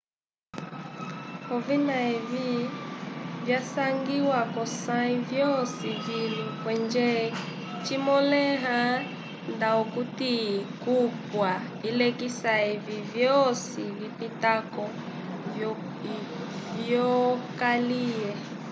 ovina evi vyasangiwa kosay yosi vilu kenje cimoleya ndakuti kupwa ilekisa evi vyosi vipitako vyokalye